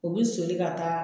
U bɛ soli ka taa